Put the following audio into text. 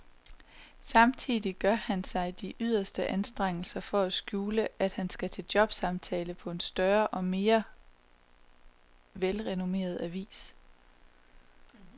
Samtidig gør han sig de yderste anstrengelser for at skjule, at han skal til jobsamtale på en større og mere velrenommeret avis.